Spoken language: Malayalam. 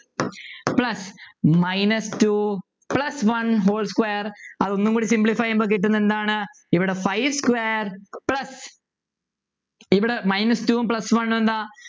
plus minus two plus one whole square അതൊന്നും കൂടി simplify ചെയ്യുമ്പോ കിട്ടുന്നതെന്താണ് ഇവിടെ five square plus ഇവിടെ minus two ഉം plus one ഉം എന്താ